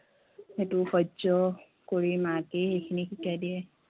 সেইটো সহ্য় কৰি মাকেই এইখিনি শিকাই দিয়ে